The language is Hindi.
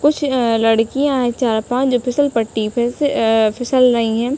कुछ अ- लडकियाँ है। चार-पांच जो फिसल पट्टी पे से अ- फिसल रही है।